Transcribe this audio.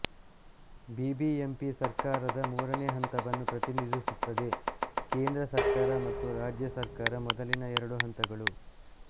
BBMP ಸರ್ಕಾರದ ಮೂರನೇ ಹಂತವನ್ನು ಪ್ರತಿನಿಧಿಸುತ್ತದೆ ಕೇಂದ್ರ ಸರ್ಕಾರ ಮತ್ತು ರಾಜ್ಯ ಸರ್ಕಾರ ಮೊದಲಿನ ಎರಡು ಹಂತಗಳು